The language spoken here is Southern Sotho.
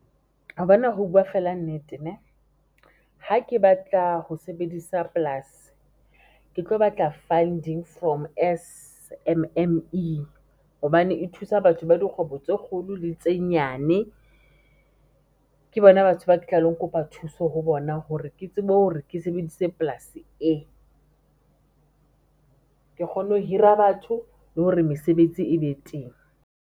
Wa bona ho buwa fela nnete neh, ha ke batla ho sebedisa polasi, ke tlo batla fund-ing from S_M_M_E hobane e thusa batho ba dikgwebo tse kgolo le tse nyane. Ke bona batho ba ke tla lo kopa thuso ho bona hore ke tsebe hore ke sebedise polasi e, ke kgone ho hira batho, le hore mesebetsi e be teng.